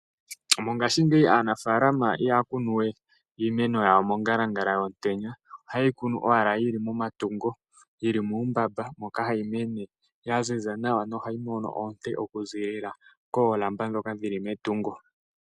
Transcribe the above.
Mongashingeyi aanafaalama ihaya kunu we iimeno yawo mongalangala yomutenya, ohaye yi kunu owala yi li momatungo, yi li muumbamba moka hayi mene ya ziza nawa nohayi mono oonte okuziilila koolamba ndhoka dhi li metungo.